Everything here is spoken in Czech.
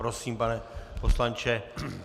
Prosím, pane poslanče.